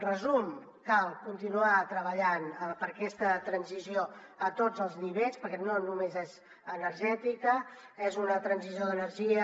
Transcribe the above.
resum cal continuar treballant per aquesta transició a tots els nivells perquè no només és energètica és una transició d’energia